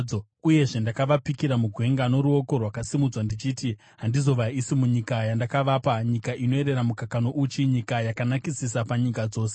Uyezve ndakavapikira mugwenga noruoko rwakasimudzwa ndichiti handizovaisi munyika yandakavapa, nyika inoyerera mukaka nouchi, nyika yakanakisisa panyika dzose,